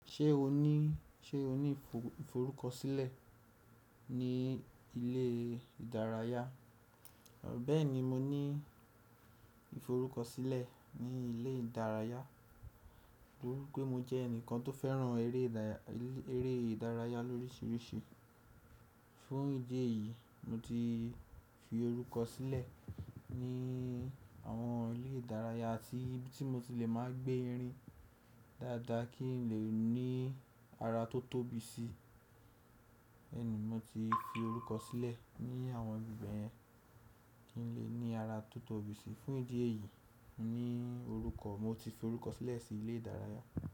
Ṣé o ní, ṣe o ní ìforúkọsílẹ̀ ní ilé ìdárayá? Bẹ́ẹ̀ni, mo ní ìforúkọsílẹ̀ ní ilé ìdárayá, nítorí pé mo jẹ́ ẹnìkan tó fẹ́ràn eré ìdárayá lórísìírísìí. Fún ìdí èyí, mo ti fi orúkọ sílẹ̀ ní àwọn ilé ìdárayá àti ibi tí mo ti le máa gbé irin dáadáa kí n lè ní ara tó tóbi sí i. Bẹ́ẹ̀ni, mo ti fi orúkọ sílẹ̀ ní àwọn ibi bẹ yẹn, kí n lè ní ara tó tóbi sí i. Fún ìdí èyí, mo ní orúkọ, mo ti fi orúkọ sílẹ̀ sí ilé ìdárayá.